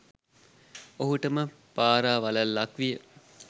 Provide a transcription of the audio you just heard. ඔහුටම පරාවලල්ලක් විය.